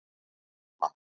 Frímann